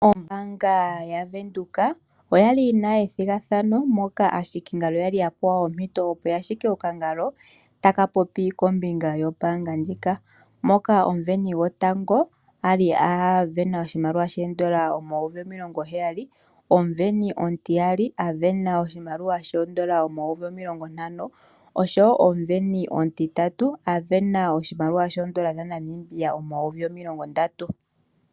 Oombaanga yaVenduka oyali yina ethigathano moka aahikingalo kwali yapewa ompito yahike okangalo taka popi kombinga yoombanga ndjika. Moka omuveni gotango ali avena oshimaliwa shoodola N$70 000, omuveni omutiyali avena oshimaliwa shoodola N$ 50 000 oshowo omuveni omutitatu avena oshimaliwa shoodola N$ 30 000.